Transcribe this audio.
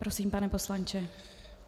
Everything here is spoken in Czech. Prosím, pane poslanče.